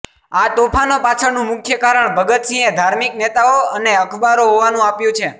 આ તોફાનો પાછળનું મુખ્ય કારણ ભગતસિંહે ધાર્મિક નેતાઓ અને અખબારો હોવાનું આપ્યું છે